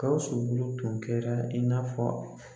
Gawusu bolo tun kɛra i n'a fɔ